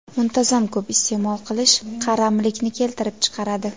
Muntazam ko‘p iste’mol qilish qaramlikni keltirib chiqaradi.